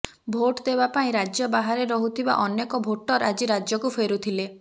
vote ଦେବାପାଇଁ ରାଜ୍ୟ ବାହାରେ ରହୁଥିବା ଅନେକ ଭୋଟର ନିଜ ରାଜ୍ୟକୁ ଫେରୁଥିଲେ